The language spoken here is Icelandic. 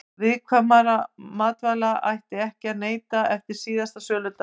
Viðkvæmra matvæla ætti ekki að neyta eftir síðasta söludag.